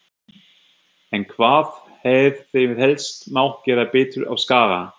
En hvað hefði helst mátt gera betur á Skaga?